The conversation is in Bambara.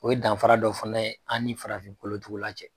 O ye danfara dɔ fana ye an farafinkolotugula cɛ